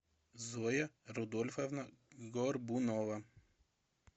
зоя рудольфовна горбунова